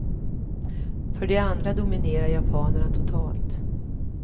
För det andra dominerar japanerna totalt.